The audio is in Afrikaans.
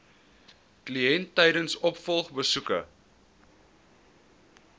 kliënt tydens opvolgbesoeke